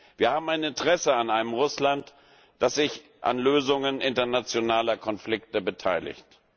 Wir haben ein Interesse an einem Russland, das sich an Lösungen internationaler Konflikte beteiligt.